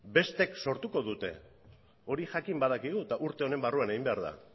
besteek sortuko dute hori jakin badakigu eta urte honen barruan egin behar da